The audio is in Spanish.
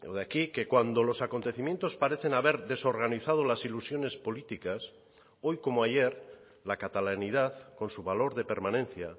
de aquí que cuando los acontecimientos parecen haber desorganizado las ilusiones políticas hoy como ayer la catalanidad con su valor de permanencia